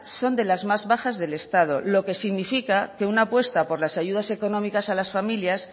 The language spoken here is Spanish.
son de las más bajas del estado lo que significa que una apuesta por las ayudas económicas a las familias